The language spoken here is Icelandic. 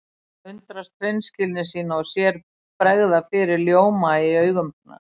Hann undrast hreinskilni sína og sér bregða fyrir ljóma í augum hennar.